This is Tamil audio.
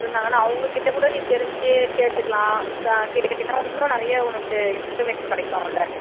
இருந்தாங்கன்னா அவங்க கிட்ட கூட நீ தெரிஞ்சு கேட்டுக்கலாம் கேட்டுகிட்டீன்னா இன்னும் நிறைய உனக்கு information கிடைக்குமுல்ல